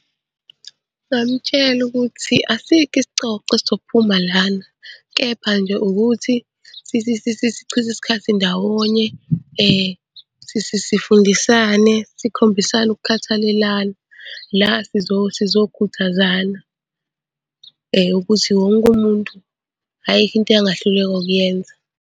Ngamtshela ukuthi asikho isicoco esizophuma lana, kepha nje ukuthi sichithe isikhathi ndawonye sifundisane, sikhombisane ukukhathalelana. La sizokhuthazana ukuthi wonke umuntu ayikho into angahluleka ukuyenza.